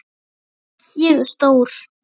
Ég er stór.